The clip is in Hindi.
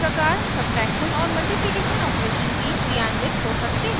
इसी प्रकार सब्ट्रैक्शन और मल्टिप्लिकेशन ऑपरेशन भी क्रियान्वित हो सकते हैं